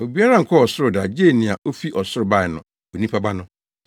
Obiara nkɔɔ ɔsoro da agye nea ofi ɔsoro bae no—Onipa Ba no.